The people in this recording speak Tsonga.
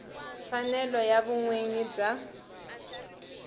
mfanelo ya vun winyi bya